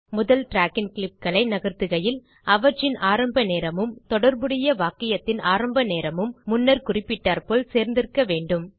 முதல் ட்ராக்கின் க்ளிப்புகளை நகர்த்துகையில் அவற்றின் ஆரம்பநேரமும் தொடர்புடைய வாக்கியத்தின் ஆரம்பநேரமும் முன்னர் குறிப்பிட்டாற்போல் சேர்ந்திருக்க வேண்டும்